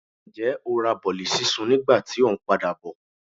njẹ o ra bolí sisún ní ìgbà tí o n padabọ?